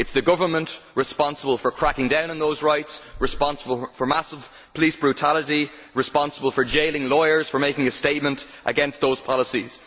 It is the government that is responsible for cracking down on those rights it is responsible for massive police brutality and it is responsible for jailing lawyers for making a statement against those policies.